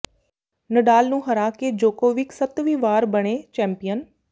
ਨਡਾਲ ਨੂੰ ਹਰਾ ਕੇ ਜੋਕੋਵਿਕ ਸੱਤਵੀਂ ਵਾਰ ਬਣੇ ਚੈਂਪੀਅਨ